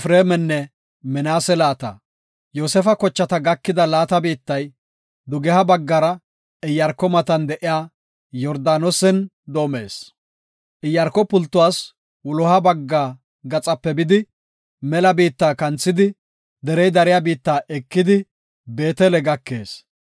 Yoosefa kochata gakida laata biittay dugeha baggara Iyaarko matan de7iya Yordaanosen doomees. Iyaarko pultuwas wuloha bagga gaxape bidi, mela biitta kanthidi, derey dariya biitta ekidi, Beetele gakees.